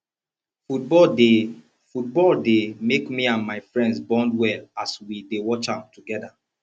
football dey football dey make me and my friends bond well as we dey watch am together